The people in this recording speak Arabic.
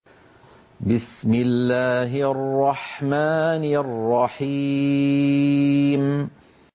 بِسْمِ اللَّهِ الرَّحْمَٰنِ الرَّحِيمِ